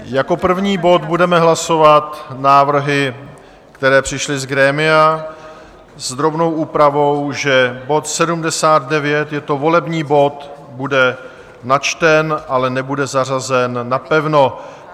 Jako první bod budeme hlasovat návrhy, které přišly z grémia, s drobnou úpravou, že bod 79, je to volební bod, bude načten, ale nebude zařazen napevno.